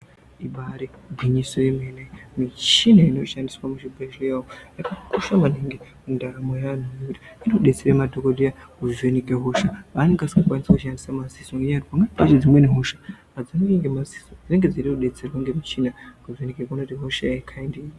Ibaari gwinyisi yemene michini inoshandiswa muzvibhedhlera umu yakakosha maningi mundaramo yeantu ngekuti inodetsera madhokoteya kuvheneka hosha yavanenge vasikakwanisi kushandisa madziso nenyaya yekuti kune dzimweni hosha adzioneki ngemadziso dzinenge dzeida kudetserwa ngemuchini.